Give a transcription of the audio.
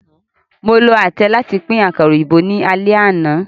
Mo lo atẹ làti pin àkàrá óyinbo ni àlẹ àna.